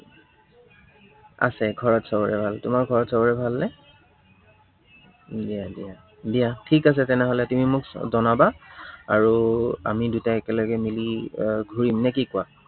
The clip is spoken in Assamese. আছে, ঘৰত সৱৰে ভাল, তোমাৰ ঘৰত সৱৰে ভালনে? দিয়া দিয়া, দিয়া। ঠিক আছে, তেনেহলে তুমি মোক জনাবা। আৰু আমি দুটা একেলগে মিলে এৰ ঘূৰিম নে কি কোৱা।